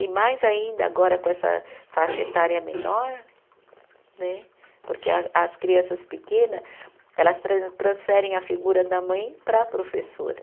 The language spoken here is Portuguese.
E mais ainda, agora com essa faixa etária menor né, porque a as crianças pequena, elas tra transferem a figura da mãe para a professora.